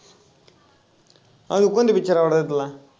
अजून कोणता picture आवडायचा तुला?